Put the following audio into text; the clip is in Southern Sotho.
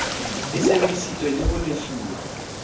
e sebeditswe le ho lefuwa